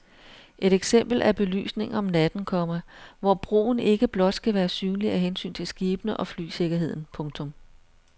Et eksempel er belysningen om natten, komma hvor broen ikke blot skal være synlig af hensyn til skibene og flysikkerheden. punktum